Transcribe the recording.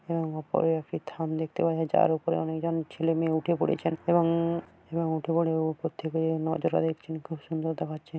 উম তার ওপরে একটি খান দেখতে পাওয়া তার ওপরে অনেক জন ছেলে মেয়ে উঠে পড়েছেন এবং এবং উঠে পড়ে ওপর থেকে যে নজারা দেখছেন। খুব সুন্দর দেখাচ্ছে।